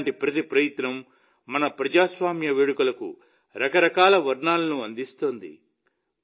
ఇలాంటి ప్రతి ప్రయత్నమూ మన ప్రజాస్వామ్య వేడుకలకు రకరకాల వర్ణాలను అందిస్తోంది